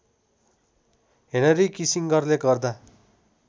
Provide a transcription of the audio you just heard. Henry किसिङगरले गर्दा